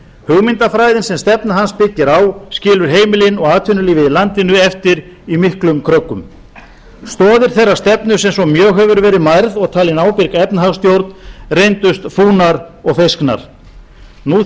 hugmyndafræðin sem stefna hans byggir á skilur heimilin og atvinnulífið í landinu eftir í miklum kröggum stoðir þeirrar stefnu sem svo mjög hefur verið mærð og talin ábyrg efnahagsstjórn reyndust fúnar og feysknar nú